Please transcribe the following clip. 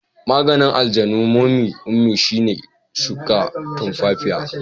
Maganin aljanun momy ummi shine shuka tumfafiya.